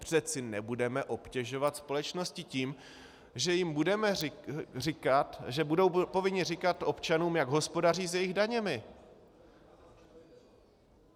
Přeci nebudeme obtěžovat společnosti tím, že jim budeme říkat, že budou povinny říkat občanům, jak hospodaří s jejich daněmi.